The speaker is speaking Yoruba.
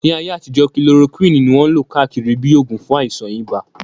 Ní ayé àtijọ́, kilorokíwìn ní wọ́n lò káàkiri bíi oògùn fún àìsàn ibà